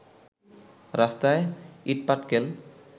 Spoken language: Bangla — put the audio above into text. রাস্তায় ইটপাটকেল